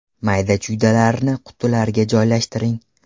Mayda-chuydalarni qutilarga joylashtiring.